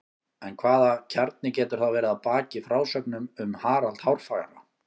En hvaða kjarni getur þá verið að baki frásögnum um Harald hárfagra?